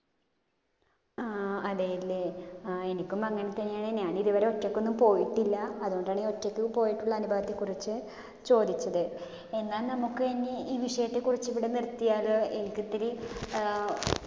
ആഹ് അതേലെ. അഹ് എനിക്കും അങ്ങനെത്തന്നെയാണ്. ഞാൻ ഇതുവരെ ഒറ്റക്കൊന്നും പോയിട്ടില്ല. അതോണ്ടാണ് ഒറ്റക്ക് പോയീട്ടുള്ള അനുഭവത്തെ കുറിച്ചു ചോദിച്ചത്. എന്നാ നമ്മുക്ക് ഇനി ഈ വിഷയത്തെ കുറിച്ചു ഇവിടെ നിർത്തിയാലോ? എനിക്കൊത്തിരി അഹ്